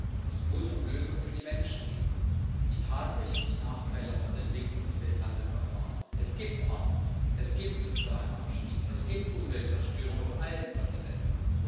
Denn es muss um Lösungen für die Menschen gehen, die tatsächlich Nachteile aus der Entwicklung des Welthandels erfahren. Es gibt Armut, es gibt sozialen Abstieg, es gibt Umweltzerstörung auf allen Kontinenten.